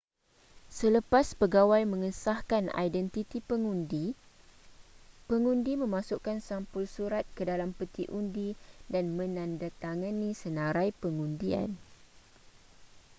selepas pegawai mengesahkan identiti pengundi pengundi memasukkan sampul surat ke dalam peti undi dan menandatangani senarai pengundian